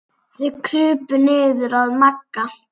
Þeir krupu niður að Magga.